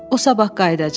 O sabah qayıdacaq.